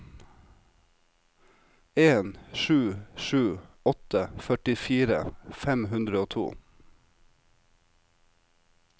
en sju sju åtte førtifire fem hundre og to